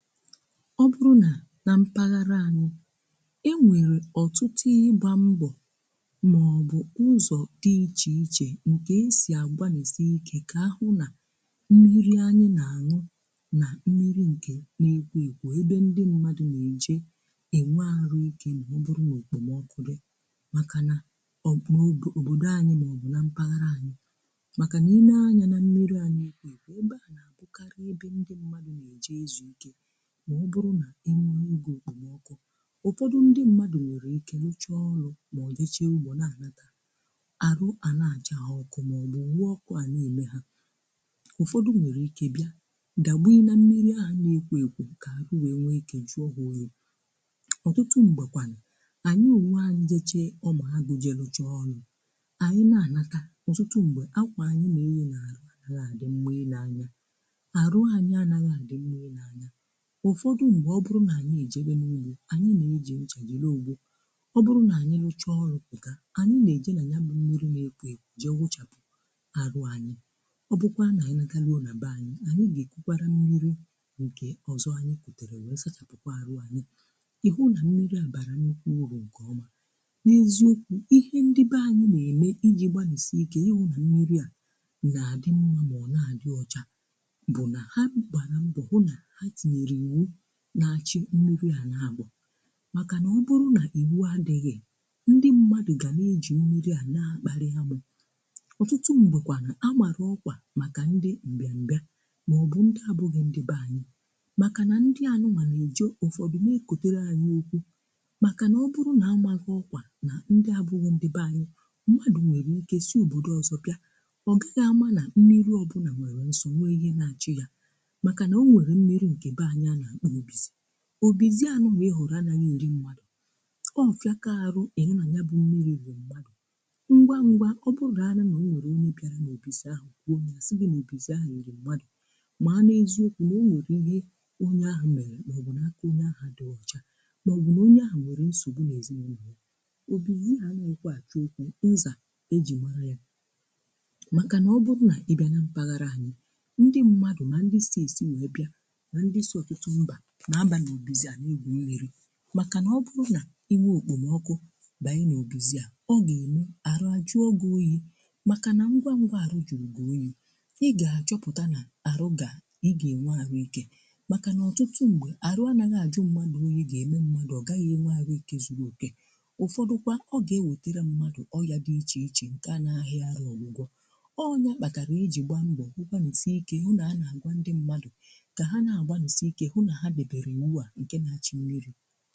Ọ bụrụ̀ nà n'mpaghara anyị̀, e nwèrè ọtụtụ ịgbà mbọ̀ màọbụ̀ ụzọ̀ dị̀ iche ichè nke esì agbanịsì ike ka ahụ̀ nà mmiri anyị̀ nà-àṅụ nà mmiri nke n’ekwò ekwò ebe ndị mmadụ̀ na-eje enwe arụ̀ ike maọ̀bụ̀rụ̀ n’okpomọkụ dị̀ makà nà um n'obodo anyị̀ maọ̀bụ̀ n'mpaghara anyị̀. Makà niine anyà na mmiri a n'ekwò ekwò ebe à nà àbụkarị̀ ebe ndị mmadụ̀ na-eje ezu ike maọ̀bụ̀rụ̀ nà e rụo ogè okpomọkụ̀. Ụfọdụ ndị mmadụ̀ nwere ike rụchaa ọlụ̀ maọ̀bụ̀ jechee ugbo na-anatà arụ àna àcha ha ọkụ̀ maọ̀bụ̀ nwụ ọkụ̀ à na-ème hà. Ụfọdụ nwerè ike bịà dagbunye na mmiri ahụ̀ na-ekwo ekwo ka arụ wee nwe ike jụọ ha oyi. Ọtụtụ m̀gbèkwànu ànyị n'onwe anyị jechee ọmụ̀ agụ̀ je lụchaa ọrụ̀ ànyị na-anatà, ọtụtụ m̀gbè, akwà anyị̀ na eghì n'arụ anarọ a dị mma i ne anya, arụ anyị anaghị à dị mma i ne anya. Ụfọdụ̀ mgbè ọ bụrụ nà anyị ejėbe mmiri ànyị nà-eji nchà jiri ogbò. Ọ bụrụ nà ànyị rụchọọ pùtà ànyị nà-eje nà ya bụ̀ mmiri na-ekwo ekwo jee wụchàpù arụ ànyị. Ọ bụkwaa nà ànyị nàrụo nà-bè anyị ànyị gà-èkukwara mmiri ǹkè ọzọ̀ anyị kùtèrè wee sachàpùkwa àrụ ànyị, ihụ nà mmiri à bàrà nnukwu urù ǹkè ọmà. N'eziokwu̇ ihe ndị be anyị nà-ème iji̇ gbanịsi ike ịhụ nà mmiri à nà-àdị mmȧ mà ọ na-àdị ọchà bụ̀ nà ha gbàra mbọ̀ hụ na ha tinyere iwụ na-àchị mmiri à na-agbà makà na ọ bụrụ̀ na ìwu adịghị, ndị mmadụ̀ ga na-ejì mmiri à na-akparì ámụ. Ọtụtụ̀ mgbekwànu amarụ̀ ọkwà makà ndị mbịambịà maọ̀bụ̀ ndị abụghị̀ ndị b'anyị̀. Makà na ndị a nụ̀nwa n'eje ụfọdụ nee kọtere ànyị okwù. Makà na ọ bụrụ na amaghị̀ ọkwà na ndị abụghị̀ ndị b'anyị̀, mmadụ̀ nwere ike sii òbodò ọzọ bịà, ọ gaghị̀ amà na mmiri ọbụ̀na nwere nsọ̀ nwee ihe na-achị̀ yà. Makà na o nwere mmiri nkè b'anyị̀ a na-akpọ Obìzi. Obizi anụ̀nwa ị hụ̀rụ̀ anà n’eri mmadụ̀, ọ̀ fịakà àrụ ị̀nụ nà ya bụ̇ mmiri riri mmadụ̀. Ngwa ngwa ọ bụraanà nà o nwèrè onye bịàrà n’obìzi ahụ̀ gwụo ya àsị gị n’obìzi ahụ̀ riri mmadụ̀, màà n'eziokwù nà owère ihe onye ahụ̀ mere màọ̀bụ̀ nà aka onye ahụ̀ àdịghị ọcha màọ̀bụ̀ nà onye ahụ̀ nwere nsògbu n’èzinàụlọ̀ ya. Obìzi a anịghịkwa ach'okwu ńzà e jì mara ya màkà nà ọ bụrụ nà ị bịana mpaghara anyị ndị mmadụ̀ mà ndị sì èsì wee bịa nà ndị so ótú mbà na-aba n'obizi a na-egwu mmiri maka na ọ bụrụ na ị nwee okpomọkụ banye na obizi a ọ ga-eme arụ ajụọ gị-oyi maka na ngwa ngwa arụ juru gi oyi ị ga-achọpụta na arụ ga ị ga-enwe arụ ike. Maka na ọtụtụ mgbe arụ anaghị ajụ mmadụ oyi ga-eme mmadụ ọ gaghị enwe arụ ike zuru oke. Ụfọdụkwa ọ ga-ewetere mmadụ ọ ya dị iche iche nke a na-ahịa arụ ọgwụgwọ. Ọ nyakpatara iji gbaa mbọ gbanịsịe ike hụ na a na-agwa ndị mmadụ ka ha agbanịsị ike hụ na ha dobere iwụ a na-achi mmiri